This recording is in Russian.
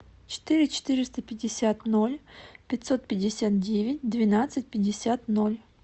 четыре четыреста пятьдесят ноль пятьсот пятьдесят девять двенадцать пятьдесят ноль